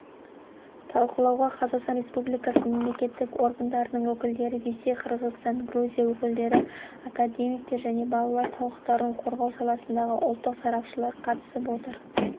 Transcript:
талқылауға қазақстан республикасы мемлекеттік органдарының өкілдері ресей қырғызстан грузия өкілдері академиктер және балалар құқықтарын қорғау саласындағы ұлттық сарапшылар қатысып отыр